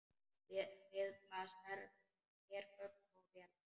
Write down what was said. Við blasa hergögn og vélar.